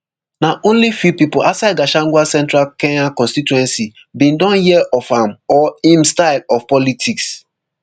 na only few pipo outside gachagua central kenya constituency bin don hear of am or im style of politics